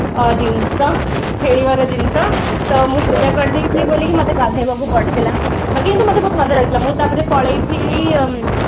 ଜିନିଷ ଖେଳିବାର ଜିନିଷ ସ ମୁଁ ପୂଜା କରିଦେଇକି ମତେ ଗାଧେଇବାକୁ ପଡିଥିଲା ବାକି କିନ୍ତୁ ମତେ ବହୁତ ମଜା ଲାଗୁଥିଲା ମୁଁ ତାପରେ ପଳେଈ ଥିଲି ଅମ୍ମ